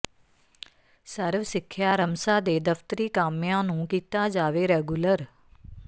ਸਰਵ ਸਿੱਖਿਆ ਰਮਸਾ ਦੇ ਦਫ਼ਤਰੀ ਕਾਮਿਆਂ ਨੂੰ ਕੀਤਾ ਜਾਵੇ ਰੈਗੂਲਰ